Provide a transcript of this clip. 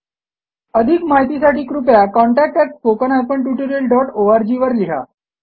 अधिक माहितीसाठी कृपया contactspoken tutorialorg वर लिहा